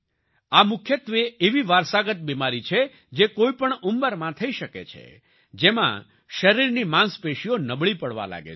આ મુખ્યત્વે એવી વારસાગત બિમારી છે જે કોઈ પણ ઉંમરમાં થઈ શકે છે જેમાં શરીરની માંસપેશીઓ નબળી પડવા લાગે છે